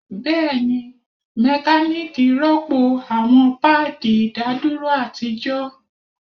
Bẹẹni, mekaniki rọpo awọn paadi idaduro atijọ